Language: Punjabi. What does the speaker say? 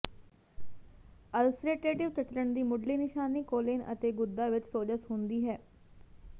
ਅਲਸਰੇਟ੍ਰੇਟਿਵ ਚਚੱਲਣ ਦੀ ਮੁਢਲੀ ਨਿਸ਼ਾਨੀ ਕੋਲੇਨ ਅਤੇ ਗੁਦਾ ਵਿੱਚ ਸੋਜਸ਼ ਹੁੰਦੀ ਹੈ